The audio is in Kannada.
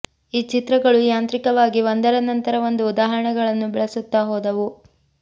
ಈ ಚಿತ್ರಗಳು ಯಾಂತ್ರಿಕವಾಗಿ ಒಂದರ ನಂತರ ಒಂದು ಉದಾಹರಣೆಗಳನ್ನು ಬೆಳೆಸುತ್ತ ಹೋದವು